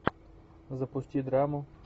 запусти драму